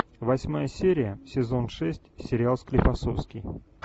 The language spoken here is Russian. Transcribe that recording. восьмая серия сезон шесть сериал склифосовский